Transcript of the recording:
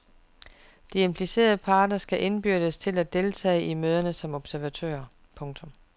De implicerede parter skal indbydes til at deltage i møderne som observatører. punktum